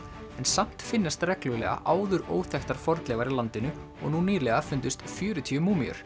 en samt finnast reglulega áður óþekktar fornleifar í landinu og nú nýlega fundust fjörutíu